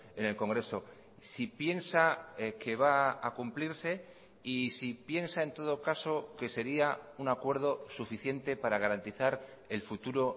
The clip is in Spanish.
en el congreso si piensa que va a cumplirse y si piensa en todo caso que sería un acuerdo suficiente para garantizar el futuro